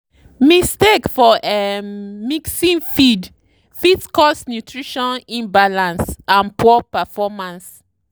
mistake for um mixing feed fit cause nutrition imbalance and poor performance.